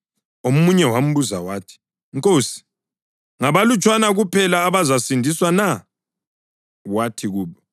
Omunye wambuza wathi, “Nkosi, ngabalutshwana kuphela abazasindiswa na?” Wathi kubo,